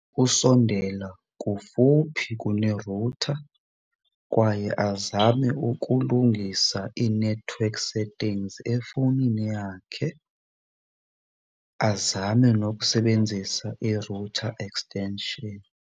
Usondela kufuphi kune-router kwaye azame ukulungisa ii-network settings efowunini yakhe. Azame nokusebenzisa i-router extention.